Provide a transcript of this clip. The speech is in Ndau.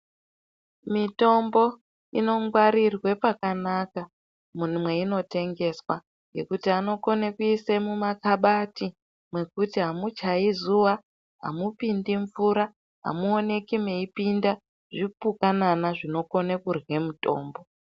Mitombo inongwarirwe pakanaka mwunumweyinotengeswa ngekuti anokone kuisa mumakabati mwekuti hamuchayi zuva, hamupindi mvura, hamuwoneki mweyipinda zvinokone kurwe mutombo.